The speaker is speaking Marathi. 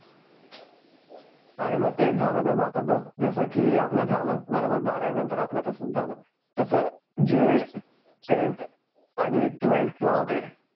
अरे मग तेच झालंन आता बघ जस की आपला झालं बघ बारावी नंतर आपल तसच झालं तस जे टेंथ अँड त्वेल्थ ल होते